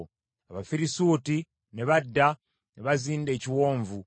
Abafirisuuti ne badda, ne bazinda ekiwonvu.